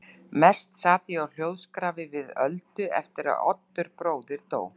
Mest sat ég á hljóðskrafi við Öldu eftir að Oddur bróðir dó.